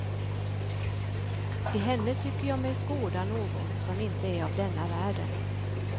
I henne tycker jag mig skåda någon som inte är av denna världen.